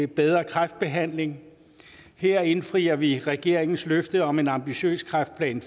bedre kræftbehandling her indfrier vi regeringens løfte om en ambitiøs kræftplan